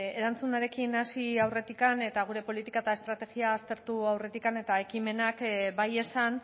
erantzunarekin hasi aurretikan eta gure politika eta estrategia aztertu aurretikan eta ekimenak bai esan